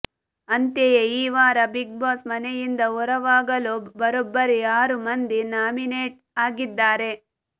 ಅಂತೆಯೇ ಈ ವಾರ ಬಿಗ್ ಬಾಸ್ ಮನೆಯಿಂದ ಹೊರವಾಗಲು ಬರೋಬ್ಬರಿ ಆರು ಮಂದಿ ನಾಮಿನೇಟ್ ಆಗಿದ್ದಾರೆ